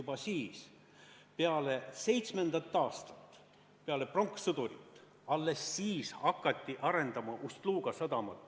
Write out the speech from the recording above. Alles peale 2007. aastat, peale pronkssõdurit hakati arendama Ust-Luga sadamat.